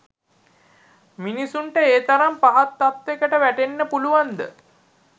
මිනිස්සුන්ට ඒ තරම් පහත් තත්ත්වෙකට වැටෙන්න පුළුවන් ද?